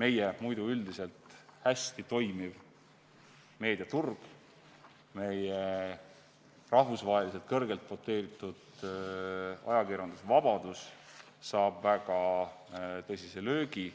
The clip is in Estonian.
meie muidu üldiselt hästi toimiv meediaturg, meie rahvusvaheliselt kõrgelt doteeritud ajakirjandusvabadus saab väga tõsise löögi.